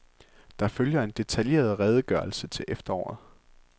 Der følger en detaljeret redegørelse til efteråret.